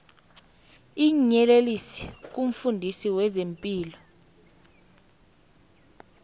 iinyeleliso kumfundisi wezepilo